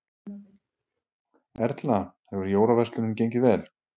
Erla: Hefur jólaverslunin gengið vel?